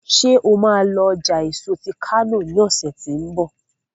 ṣe má lọ ọjà èso tí kano lọsẹ tí n bọ?